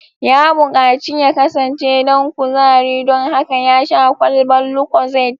Ya bukaci ya kasance dan kuzari don haka ya sha kwalban Lucozade